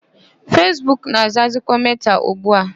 Fesbuk na-azazikwa Meta ugbu a.